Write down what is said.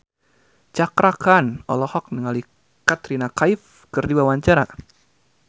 Cakra Khan olohok ningali Katrina Kaif keur diwawancara